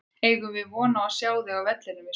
Eigum við von á að sjá þig á vellinum í sumar?